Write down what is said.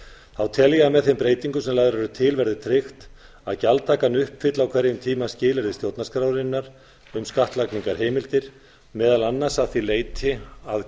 þá tel ég að með þeim breytingum sem lagðar eru til verði tryggt að gjaldtakan uppfylli á hverjum tíma skilyrði stjórnarskrárinnar um skattlagningarheimildir meðal annars að því leyti að